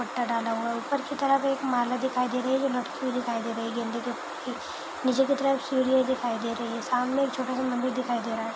दुप्पटा डाला हुआ है ऊपर की एक माला दिखाई दे रही है जो लटकी हुई दिखाई दे रही है गेंदे नीचे की तरफ सीढ़ियां दिखाई दे रही है सामने एक छोटा सा मंदिर दिखाई दे रहा है।